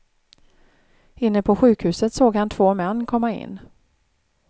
Inne på sjukhuset såg han två män komma in.